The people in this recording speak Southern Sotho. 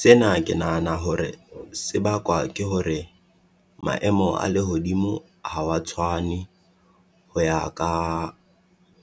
Sena ke nahana hore se bakwa ke hore, maemo a lehodimo ha wa tshwane, ho ya ka